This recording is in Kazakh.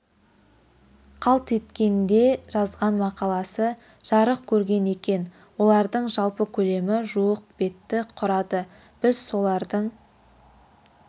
қалт еткенде жазған мақаласы жарық көрген екен олардың жалпы көлемі жуық бетті құрады біз солардың